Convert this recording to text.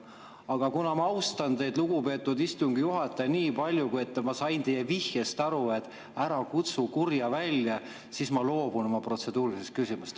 Aga kuna ma austan teid, lugupeetud istungi juhataja, nii palju ja ma sain teie vihjest aru, et ära kutsu kurja välja, siis ma loobun oma protseduurilisest küsimusest.